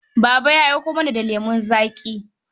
Baba ya aiko mana lemon zaƙi.